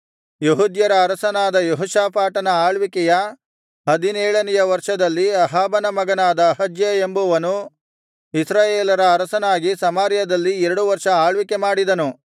ಯೆಹೂದ್ಯರ ಅರಸನಾದ ಯೆಹೋಷಾಫಾಟನ ಆಳ್ವಿಕೆಯ ಹದಿನೇಳನೆಯ ವರ್ಷದಲ್ಲಿ ಅಹಾಬನ ಮಗನಾದ ಅಹಜ್ಯ ಎಂಬುವನು ಇಸ್ರಾಯೇಲರ ಅರಸನಾಗಿ ಸಮಾರ್ಯದಲ್ಲಿ ಎರಡು ವರ್ಷ ಆಳ್ವಿಕೆ ಮಾಡಿದನು